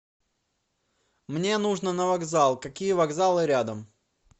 мне нужно на вокзал какие вокзалы рядом